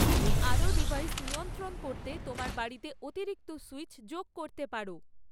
তুমি আরও ডিভাইস নিয়ন্ত্রণ করতে তোমার বাড়িতে অতিরিক্ত সুইচ যোগ করতে পারো